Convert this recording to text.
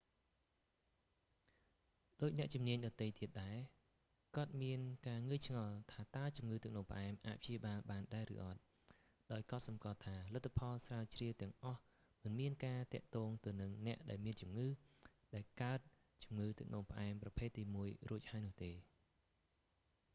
ដូចអ្នកជំនាញដទៃទៀតដែរ គាត់មានការងឿងឆ្ងល់ថាតើជំងឺទឹកនោមផ្អែមអាចព្យាបាលបានដែរឬអត់ ដោយកត់សម្គាល់ថាលទ្ធផលស្រាវជ្រាវទាំងអស់ មិនមានការទាក់ទងទៅនឹងអ្នកដែលមានជំងឺដែលកើតជំងឺទឹកនោមផ្អែមប្រភេទទី1 រួចហើយនោះទេ